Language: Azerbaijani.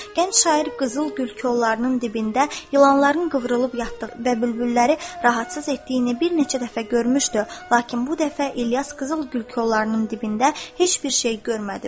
Gənc şair qızıl gül kollarının dibində yılanların qıvrılıb yatdığını və bülbülləri rahatsız etdiyini bir neçə dəfə görmüşdü, lakin bu dəfə İlyas qızıl gül kollarının dibində heç bir şey görmədi.